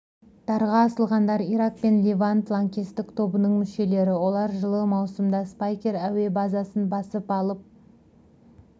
дарға асылғандар ирак пен левант лаңкестік тобының мүшелері олар жылы маусымда спайкер әуе базасын басып алып